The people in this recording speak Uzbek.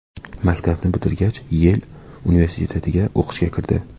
Maktabni bitirgach, Yel universitetiga o‘qishga kirdi.